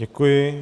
Děkuji.